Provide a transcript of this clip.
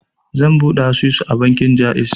Zan buɗe asusu a bankin Jaiz.